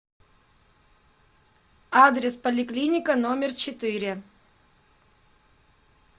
адрес поликлиника номер четыре